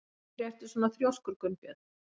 Af hverju ertu svona þrjóskur, Gunnbjörn?